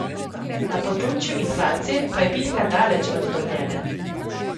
Na področju inflacije pa je bitka daleč od dobljene.